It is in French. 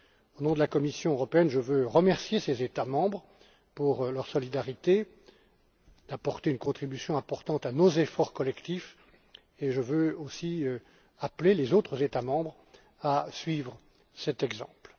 Au nom de la Commission, je veux remercier ces États membres pour leur solidarité, et leur contribution importante à nos efforts collectifs, et je veux aussi appeler les autres États membres à suivre cet exemple.